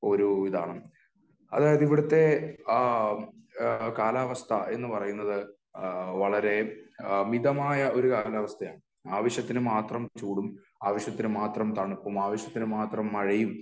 ഒരു ഇതാണ് . അതായത് ഇവിടത്തെ ആ ഇവിടത്തെ കാലാവസ്ഥ എന്ന് പറയുന്നത് വളരെ മിതമായ ഒരു കാലാവസ്ഥയാണ്.ആവശ്യത്തിന് മാത്രം ചൂടും ,ആവശ്യത്തിന് മാത്രം തണുപ്പും , ആവശ്യത്തിന് മാത്രം മഞ്ഞും ,മഴയും